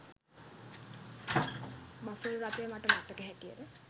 baffle රථය මට මතක හැටියට